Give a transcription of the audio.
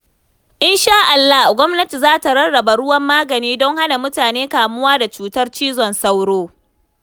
In sha Allah, gwamnati za ta rarraba ruwan magani don hana mutane kamuwa da cutar cizon sauro.